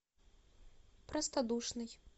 простодушный